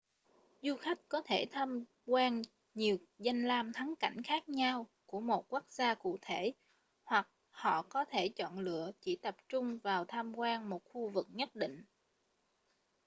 du khách có thể tham quan nhiều danh lam thắng cảnh khác nhau của một quốc gia cụ thể hoặc họ có thể chọn lựa chỉ tập trung vào tham quan một khu vực nhất định